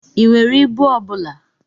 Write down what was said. I nwere ibu ọbụla?